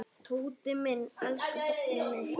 Tóti minn, elsku barnið mitt.